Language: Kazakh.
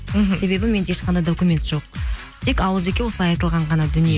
мхм себебі менде ешқандай документ жоқ тек ауыз екі осылай айтылған ғана дүние